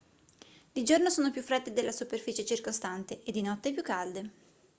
di giorno sono più fredde della superficie circostante e di notte più calde